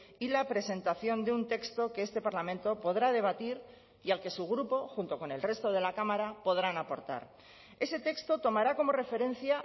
y la presentación de un texto que este parlamento podrá debatir y al que su grupo junto con el resto de la cámara podrán aportar ese texto tomará como referencia